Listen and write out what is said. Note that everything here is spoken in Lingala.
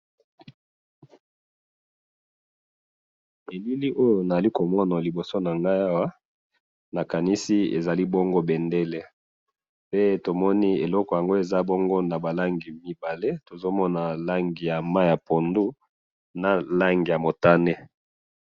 Eloko na moni awa ezali bendele, ezali na ba langi mibale, ya mai ya pondu na motane.